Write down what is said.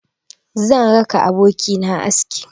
Zan raka abokina aski.